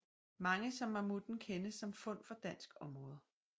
Mange som mammutten kendes som fund fra dansk område